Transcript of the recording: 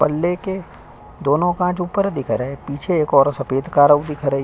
पल्ले के दोनों कांच ऊपर दिख रहे है पीछे एक और सफेद कारो दिख रही।